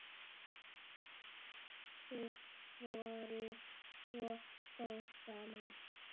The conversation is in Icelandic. Þið voruð svo góð saman.